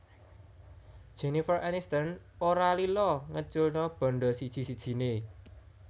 Jennifer Aniston ora lila ngeculno bandha siji sijine